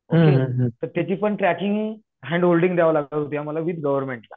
तर त्याची पण ट्रॅकिंग हॅन्डहोल्डींग द्यावी लागत होती आम्हाला विथ गव्हर्नमेंटला